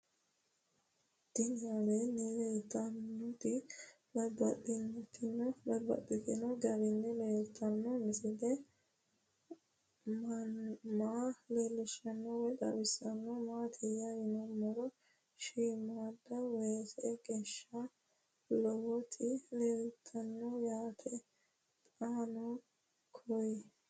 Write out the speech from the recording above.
Tinni aleenni leelittannotti babaxxittinno garinni leelittanno misile maa leelishshanno woy xawisannori maattiya yinummoro shiimmadda weesse geesha lowotti leelittanno yaatte xaanno koye